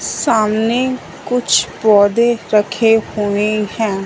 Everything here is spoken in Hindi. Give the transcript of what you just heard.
सामने कुछ पौधे रखे हुए हैं।